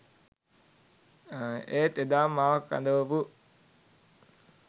ඒත් එදාම මාව කැඳවපු